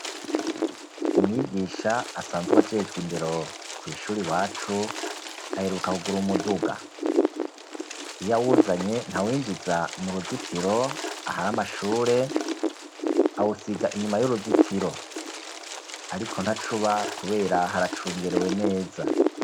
umwigisha asanzww ajejwe indero ku ishuri wacu aheruka kugura umuduga iyawuzanye ntawinjiza mu ruzitiro ahari amashure awusiga inyuma y'uruzitiro ariko ntacuba kubera haracungerewe neza